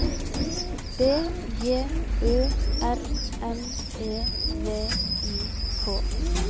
B J Ø R N E V I K